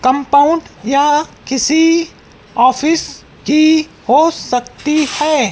Compound या किसी office की हो सकती है।